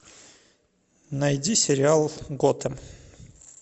найди сериал готэм